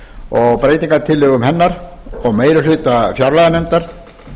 og breytingartillögum hennar og meiri hluta fjárlaganefndar